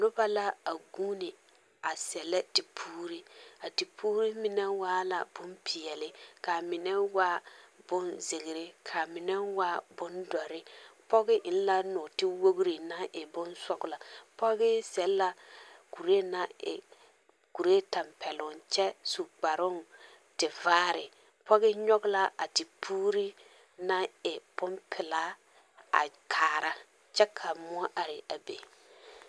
Noba la a guuni a sԑllԑ tepuuri. A tepuuri mine waa la bompeԑle, kaa mine waa bonzeere, ka a mine waa bondͻre. Pͻge eŋ la nͻͻte wogiri naŋ e bonsͻgelͻ. Pͻge seԑ la kuree naŋ e kuree tampԑloŋ kyԑ e kparoŋ naŋ e tevaare. Pͻge nyͻge a tepuuri naŋ e bompelaa a kaara kyԑ ka mõͻ are a be.